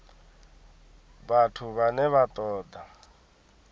vhathu vhane vha ṱo ḓa